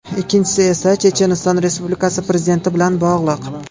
Ikkinchisi esa Checheniston Respublikasi prezidenti bilan bog‘liq.